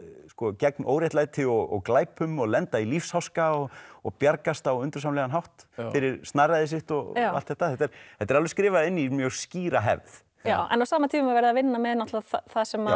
gegn óréttlæti og glæpum og lenda í lífsháska og og bjargast á undursamlegan hátt fyrir snarræði sitt og allt þetta þetta þetta er alveg skrifað inn í mjög skýra hefð en á sama tíma er verið að vinna með það sem